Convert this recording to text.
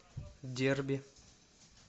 дерби